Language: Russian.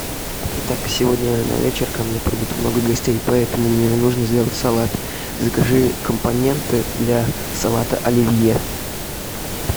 итак сегодня на вечер ко мне придут много гостей поэтому мне нужно сделать салат закажи компоненты для салата оливье